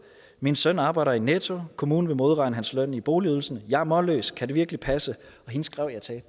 min søn arbejder i netto kommunen vil modregne hans løn i boligydelsen jeg er målløs kan det virkelig passe hende skrev jeg til at